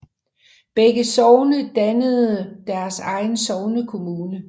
Begge sogne dannede deres egen sognekommune